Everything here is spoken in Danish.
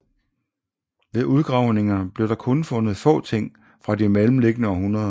Ved udgravningerne blev der kun fundet få ting fra de mellemliggende århundreder